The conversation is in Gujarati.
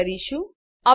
પસંદ કરીશું